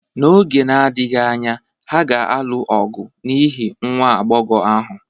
N’oge na-adịghị anya, ha ga-alụ ọgụ n’ihi nwa agbọghọ ahụ